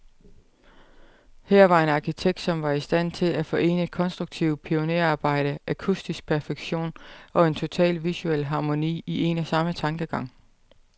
Her var en arkitekt, som var i stand til at forene konstruktivt pionerarbejde, akustisk perfektion, og en total visuel harmoni, i en og samme tankegang.